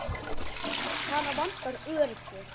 Hana vantar öryggi.